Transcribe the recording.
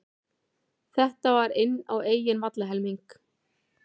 Þetta var inn á eigin vallarhelmingi.